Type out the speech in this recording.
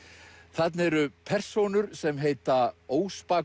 þarna eru persónur sem heita óspakur